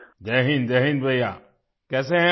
जय हिन्द जय हिन्द भईया कैसे हैं आप